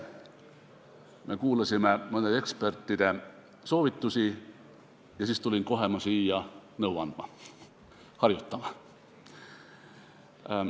Me kuulasime ekspertide soovitusi ja siis tulin ma kohe siia nõu andma ja harjutama.